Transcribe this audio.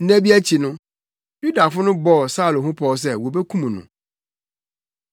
Nna bi akyi no, Yudafo no bɔɔ Saulo ho pɔw sɛ wobekum no,